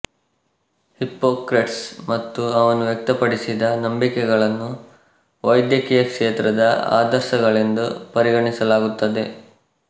Hippocrates ಮತ್ತು ಅವನು ವ್ಯಕ್ತಪಡಿಸಿದ ನಂಬಿಕೆಗಳನ್ನು ವೈದ್ಯಕೀಯ ಕ್ಷೇತ್ರದ ಆದರ್ಶಗಳೆಂದು ಪರಿಗಣಿಸಲಾಗುತ್ತದೆ